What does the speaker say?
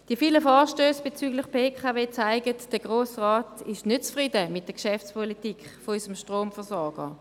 Die vielen Vorstösse bezüglich der BKW zeigen, dass der Grosse Rat nicht zufrieden ist mit der Geschäftspolitik unseres Stromversorgers.